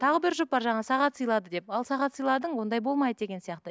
тағы бір жұп бар жаңағы сағат сыйлады деп ал сағат сыйладың ондай болмайды деген сияқты